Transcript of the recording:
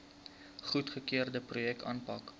goedgekeurde projekte aanpak